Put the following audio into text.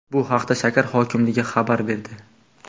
Bu haqda shahar hokimligi xabar berdi.